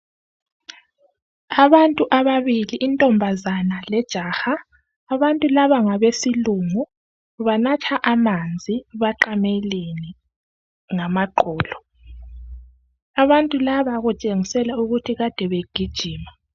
Abantu ababili intombazana lejaha. Abantu laba ngabesilungu. Banatha amanzi, baqamelene ngamaqolo, abantu laba kutshengisela ukuthi kade begijima.